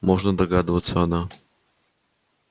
можно догадываться она